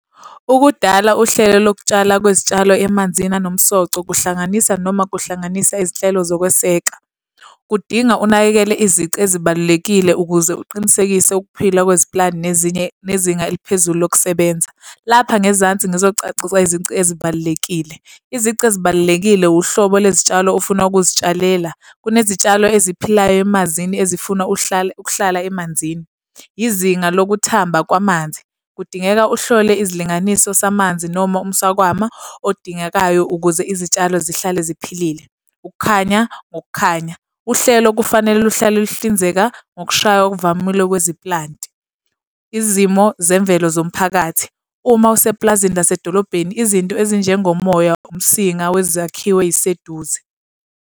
Ukudala uhlelo lokutshala kwezitshalo emanzini anomsoco, kuhlanganisa noma kuhlanganisa izinhlelo zokweseka. Kudinga unakekele izici ezibalulekile ukuze uqinisekise ukuphila kweziplanti nezinye, nezinga eliphezulu lokusebenza. Lapha ngezansi ngizocacisa izici ezibalulekile. Izici ezibalulekile hlobo lwezitshalo ofuna ukuzitshalela. Kunezitshalo eziphilayo emazini ezifuna uhlale ukuhlala emanzini. Izinga lokuthamba kwamanzi. Kudingeka uhlole izilinganiso samanzi noma umswakama odingekayo ukuze izitshalo zihlale ziphilile. Ukukhanya, ngokukhanya. Uhlelo kufanele luhlale lihlinzeka ngokushaya okuvamile kweziplanti. Izimo zemvelo zomphakathi. Uma usepulazini lasedolobheni izinto ezinjengo moya, umsinga wezakhiwo ey'seduze.